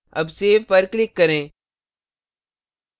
अब save पर click करें